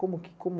Como que, como?